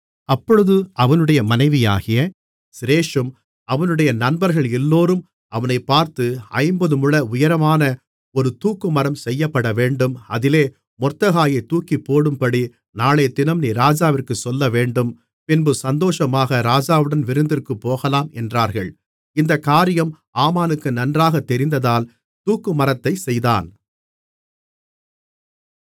அப்பொழுது அவனுடைய மனைவியாகிய சிரேஷூம் அவனுடைய நண்பர்கள் எல்லோரும் அவனைப் பார்த்து ஐம்பது முழ உயரமான ஒரு தூக்குமரம் செய்யப்படவேண்டும் அதிலே மொர்தெகாயைத் தூக்கிப்போடும்படி நாளையதினம் நீர் ராஜாவிற்குச் சொல்லவேண்டும் பின்பு சந்தோஷமாக ராஜாவுடன் விருந்திற்குப் போகலாம் என்றார்கள் இந்தக் காரியம் ஆமானுக்கு நன்றாகத் தெரிந்ததால் தூக்குமரத்தைச் செய்தான்